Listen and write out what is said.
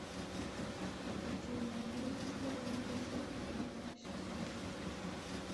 детективное агентство лунный свет тринадцатый сезон